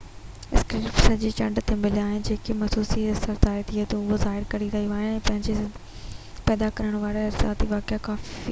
اهي اسڪريپ سڄي چنڊ تي مليا آهن ۽ گهٽ موسمي اثر ظاهر ٿئي ٿو اهو ظاهر ڪري ٿو هن کي پيدا ڪرڻ وارا ارضياتي واقعا ڪافي تازا هئا